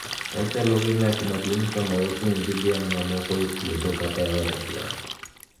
Ochalo gi ng’at maduong’ sama ochung’ gi dhiang’ mamoko e puoth kata e od dhiang’.